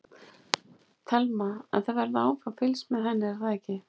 Telma: En það verður áfram fylgst með henni er það ekki?